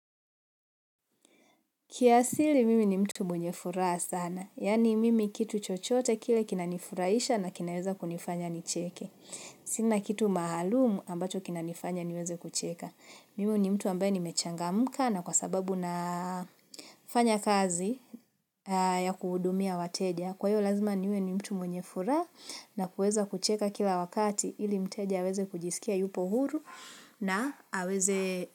Kiasili mimi ni mtu mwenye furaha sana. Yaani mimi kitu chochote kile kina nifurahisha na kinaweza kunifanya nicheke. Sina kitu maalumu ambacho kinanifanya niweze kucheka. Mimu ni mtu ambaye nimechangamka na kwa sababu nafanya kazi ya kuhudumia wateja. Kwa hio lazima niwe ni mtu mwenye furaha na kueza kucheka kila wakati ili mteja aweze kujisikia yupo huru na aweze.